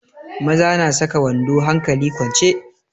Maza na saka wando hankali kwance.